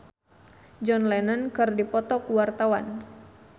Alessia Cestaro jeung John Lennon keur dipoto ku wartawan